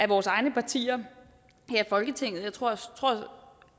vores egne partier her i folketinget jeg tror